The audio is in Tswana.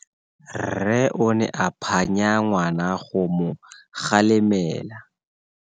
Rre o ne a phanya ngwana go mo galemela.